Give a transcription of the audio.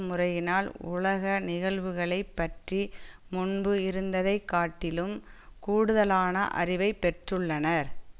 முறையினால் உலக நிகழ்வுகளை பற்றி முன்பு இருந்ததை காட்டிலும் கூடுதலான அறிவை பெற்றுள்ளனர்